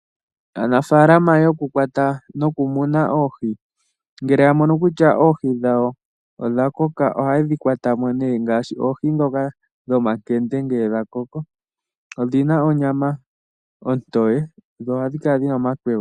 Aanafaalama yokumuna noku kwta oohi ngele ya momo kutya oohi dhawo odha koka, ohaye dhi kwata mo nduno ngaashi oohi dhoka dhomakende ngele gakoko. Odhina onyama ontoye dho ohadi kala dhina omakwega.